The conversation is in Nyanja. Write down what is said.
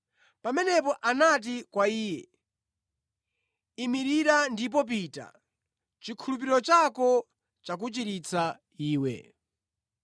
Pamenepo anati kwa iye, “Imirira ndipo pita; chikhulupiriro chako chakuchiritsa iwe.”